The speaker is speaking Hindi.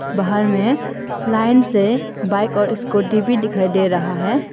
बाहर में लाइन से बाइक और स्कूटी भी दिखाई दे रहा है।